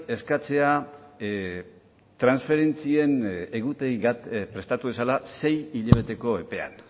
eskatzea transferentzien egutegi bat prestatu dezala sei hilabeteko epean